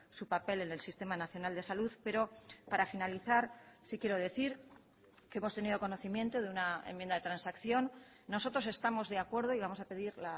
su papel en el sistema nacional de salud pero para finalizar sí quiero decir que hemos tenido conocimiento de una enmienda de transacción nosotros estamos de acuerdo y vamos a pedir